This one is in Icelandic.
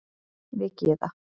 Við Gyða